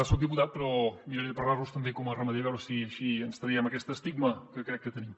soc diputat però miraré de parlarlos també com a ramader a veure si així ens traiem aquest estigma que crec que tenim